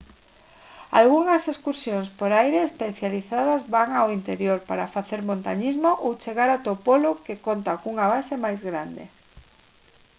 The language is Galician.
algunhas excursións por aire especializadas van ao interior para facer montañismo ou chegar ata o polo que conta cunha base máis grande